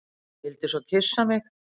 Vildi svo kyssa mig.